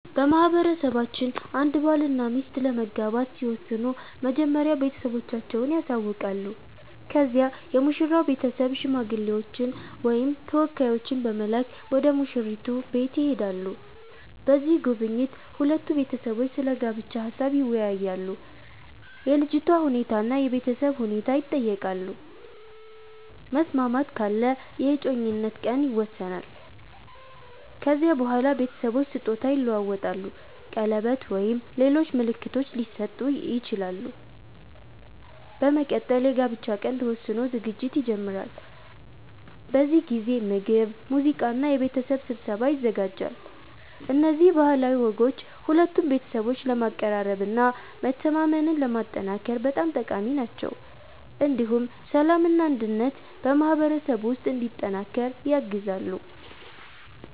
በማህበረሰባችን አንድ ባልና ሚስት ለመጋባት ሲወስኑ መጀመሪያ ቤተሰቦቻቸውን ያሳውቃሉ። ከዚያ የሙሽራው ቤተሰብ ሽማግሌዎችን ወይም ተወካዮችን በመላክ ወደ ሙሽራይቱ ቤት ይሄዳሉ። በዚህ ጉብኝት ሁለቱ ቤተሰቦች ስለ ጋብቻ ሀሳብ ይወያያሉ፣ የልጅቷ ሁኔታ እና የቤተሰብ ሁኔታ ይጠየቃሉ። መስማማት ካለ የእጮኝነት ቀን ይወሰናል። ከዚያ በኋላ ቤተሰቦች ስጦታ ይለዋወጣሉ፣ ቀለበት ወይም ሌሎች ምልክቶች ሊሰጡ ይችላሉ። በመቀጠል የጋብቻ ቀን ተወስኖ ዝግጅት ይጀመራል። በዚህ ጊዜ ምግብ፣ ሙዚቃ እና የቤተሰብ ስብሰባ ይዘጋጃል። እነዚህ ባህላዊ ወጎች ሁለቱን ቤተሰቦች ለማቀራረብ እና መተማመንን ለማጠናከር በጣም ጠቃሚ ናቸው። እንዲሁም ሰላምና አንድነት በማህበረሰቡ ውስጥ እንዲጠናከር ያግዛሉ።